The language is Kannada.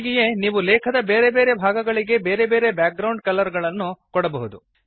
ಹೀಗೆಯೇ ನೀವು ಲೇಖದ ಬೇರೆ ಬೇರೆ ಭಾಗಗಳಿಗೆ ಬೇರೆ ಬೇರೆ ಬ್ಯಾಕ್ ಗ್ರೌಂಡ್ ಬಣ್ಣಗಳನ್ನು ಕೊಡಬಹುದು